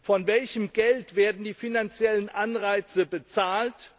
Von welchem Geld werden die finanziellen Anreize bezahlt?